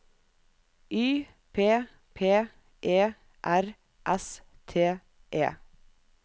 Y P P E R S T E